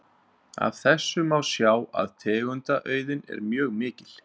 Af þessu má sjá að tegundaauðgin er mjög mikil.